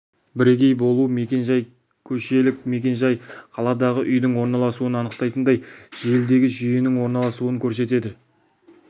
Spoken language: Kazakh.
бірегей болу мекен-жай көшелік мекен-жай қаладағы үйдің орналасуын анықтайтындай желідегі жүйенің орналасуын көрсетеді